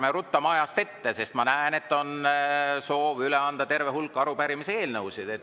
Ärme ruttame ajast ette, sest ma näen, et on soov üle anda terve hulk arupärimisi ja eelnõusid.